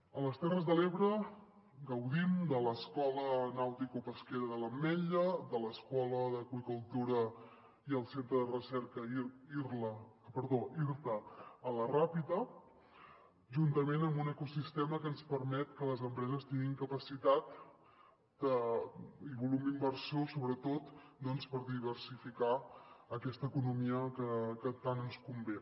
a les terres de l’ebre gaudim de l’escola de capacitació nauticopesquera de l’ametlla de l’escola de l’aqüicultura i del centre de recerca irta a la ràpita juntament amb un ecosistema que ens permet que les empreses tinguin capacitat i volum inversor sobretot doncs per diversificar aquesta economia que tant ens convé